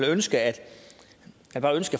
ønske at